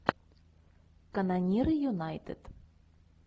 канониры юнайтед